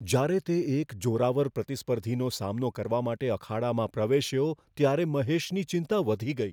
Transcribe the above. જ્યારે તે એક જોરાવર પ્રતિસ્પર્ધીનો સામનો કરવા માટે અખાડામાં પ્રવેશ્યો ત્યારે મહેશની ચિંતા વધી ગઈ.